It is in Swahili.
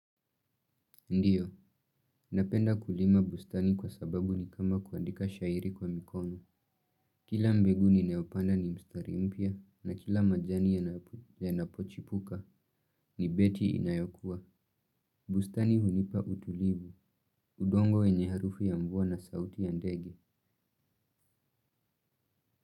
Ndio napenda kulima bustani kwa sababu ni kama kuandika shairi kwa mikono kila mbegu ni ninayopanda ni mstari mpya na kila majani yanapochipuka ni beti inayokuwa. Bustani hunipa utulivu, udongo wenye harufu ya mvua na sauti ya ndege.